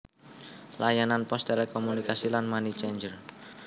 Layanan pos telekomunikasi lan money changer